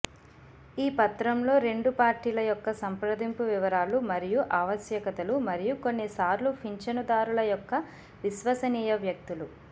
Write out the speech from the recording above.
ఈ పత్రంలో రెండు పార్టీల యొక్క సంప్రదింపు వివరాలు మరియు ఆవశ్యకతలు మరియు కొన్నిసార్లు పింఛనుదారుల యొక్క విశ్వసనీయ వ్యక్తులు